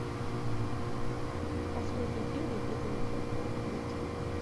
последний фильм никиты михалкова найти